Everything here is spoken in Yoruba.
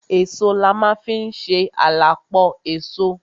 Èso la ma fi ń ṣe à la pọ èso.